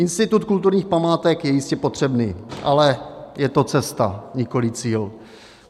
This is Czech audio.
Institut kulturních památek je jistě potřebný, ale je to cesta, nikoliv cíl.